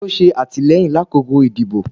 Tani o ṣe atilẹyin lakoko idibo?